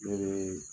Ne bɛ